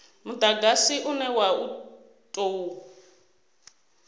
mudagasi une wa u tou